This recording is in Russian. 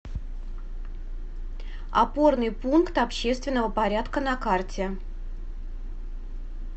опорный пункт общественного порядка на карте